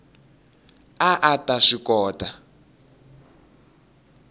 a a ta swi kota